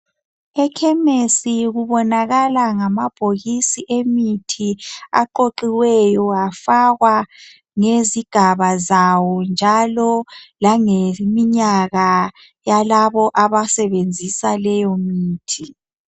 Ekhemisi kubonakala ngamabhokisi emithi aqoqiweyo afakwa ngezigaba zawo njalo langeminyaka yalabo abasebenzisa leyomithi.